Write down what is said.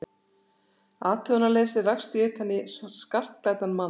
athugunarleysi rakst ég utan í skartklæddan mann.